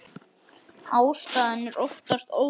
Ástæðan er oftast óþekkt.